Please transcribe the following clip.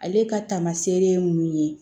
Ale ka taamaseere ye mun ye